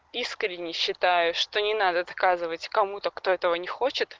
искренне считаю что не надо доказывать кому-то кто этого не хочет